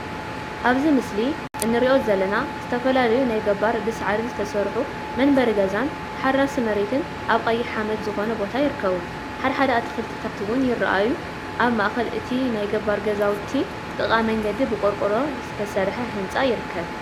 አብዚ ምስሊ እንሪኦ ዘለና ዝተፈላለዩ ናይ ገባር ብሳዕሪ ዝተሰርሑ መንበሪ ገዛን ተሓራሲ መሬትን አብ ቀይሕ ሓመድ ዝኮነ ቦታ ይርከቡ፡፡ ሓደ ሓደ አትክልቲታት እውን ይረአዩ፡፡ አብ ማእከል እቲ ናይ ገባር ገዛውቲን ጥቃ መንገዲ ብቆርቆሮ ዝተሰርሐ ህንፃ ይርከብ፡፡